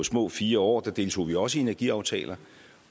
små fire år der deltog vi også i energiaftaler